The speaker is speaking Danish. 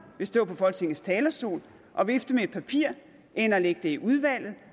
vil stå på folketingets talerstol og vifte med et papir end at lægge det i udvalget